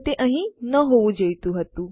તે અહીં ન હોવું જોઈતું હતું